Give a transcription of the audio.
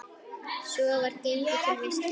Svo var gengið til veislu.